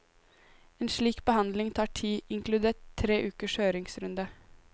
En slik behandling tar tid, inkludert tre ukers høringsrunde.